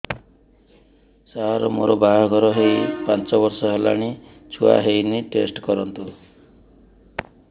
ସାର ମୋର ବାହାଘର ହେଇ ପାଞ୍ଚ ବର୍ଷ ହେଲାନି ଛୁଆ ହେଇନି ଟେଷ୍ଟ କରନ୍ତୁ